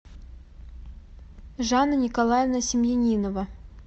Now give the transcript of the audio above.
жанна николаевна семьянинова